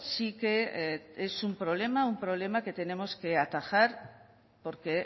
sí que es un problema un problema que tenemos que atajar porque